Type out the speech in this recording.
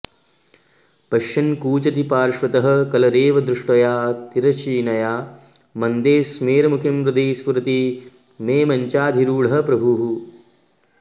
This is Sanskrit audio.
पश्यन् कूजति पार्श्वतः कलरवे दृष्ट्या तिरश्चीनया मन्दस्मेरमुखीं हृदि स्फुरति मे मञ्चाधिरूढः प्रभुः